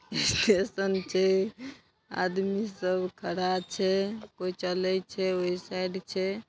आदमी सब खड़ा छै कोई चले छै ओय साइड छै।